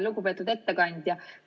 Lugupeetud ettekandja!